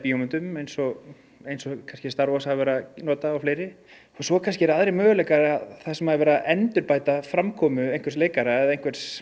eins og eins og kannski star Wars hafa verið að nota og fleiri og svo kannski eru aðrir möguleikar þar sem er verið að endurbæta framkomu einhvers leikara eða einhvers